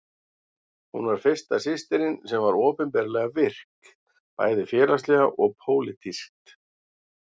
Hún var fyrsta systirin sem var opinberlega virk, bæði félagslega og pólitískt.